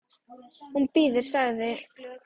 Hún bíður, sagði